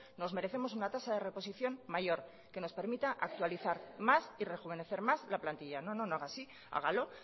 nos merecemos una tasa de reposición mayor que nos permita actualizar más y rejuvenecer más la plantilla no no no haga así hágalo